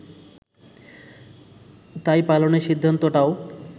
তাই পালানোর সিদ্ধান্তটাও